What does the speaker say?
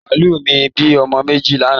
Màálù mi bí ọmọ méjì lánàá